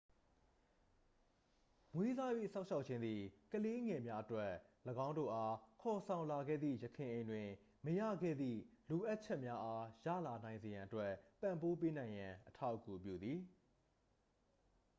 မွေးစား၍ စောင့်ရှောက်ခြင်းသည် ကလေးငယ်များအတွက် ၎င်းတို့အား ခေါ်ဆောင်လာခဲ့သည့် ယခင်အိမ်တွင် မရခဲ့သည့် လိုအပ်ချက်များအားရလာနိုင်စေရန်အတွက် ပံ့ပိုးပေးနိုင်ရန် အထောက်အကူပြုသည်